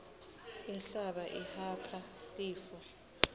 inhlaba ihapha tifo